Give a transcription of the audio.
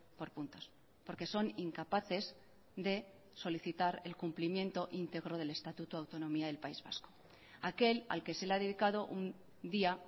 por puntos porque son incapaces de solicitar el cumplimiento íntegro del estatuto de autonomía del país vasco aquel al que se le ha dedicado un día